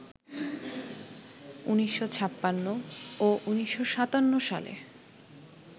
১৯৫৬ ও ১৯৫৭ সালে